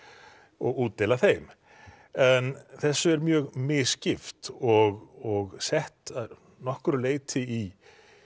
og útdeila þeim en þessu er mjög misskipt og sett að nokkru leyti í